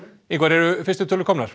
Ingvar eru fyrstu tölur komnar